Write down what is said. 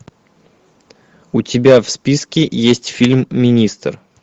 у тебя в списке есть фильм министр